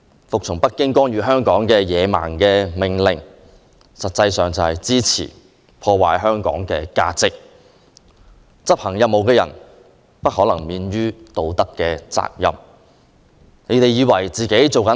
服從北京干預香港的野蠻命令，實際上是支持破壞香港的價值，執行任務的人不可能免於道德責任。